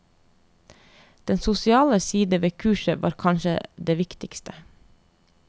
Den sosiale side ved kurset var kanskje det viktigste.